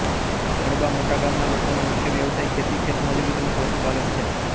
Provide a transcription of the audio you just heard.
ખડબા મોટા ગામના લોકોનો મુખ્ય વ્યવસાય ખેતી ખેતમજૂરી તેમ જ પશુપાલન છે